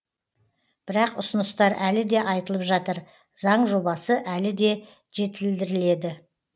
бірақ ұсыныстар әлі де айтылып жатыр заң жобасы әлі де жетілдіріледі